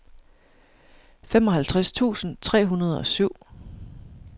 femoghalvtreds tusind tre hundrede og syv